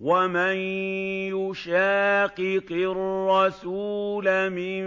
وَمَن يُشَاقِقِ الرَّسُولَ مِن